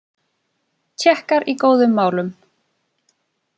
Tékkar í góðum málum